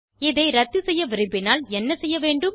இதை இரத்து செய்ய விரும்பினால் என்ன செய்ய வேண்டும்